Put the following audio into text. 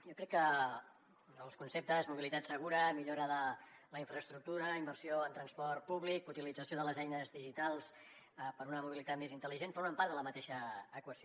jo crec que els conceptes de mobilitat segura millora de la infraestructura inversió en transport públic i utilització de les eines digitals per a una mobilitat més intel·ligent formen part de la mateixa equació